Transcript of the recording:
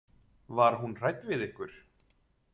Var hún hrædd við ykkur?